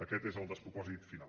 aquest és el despropòsit final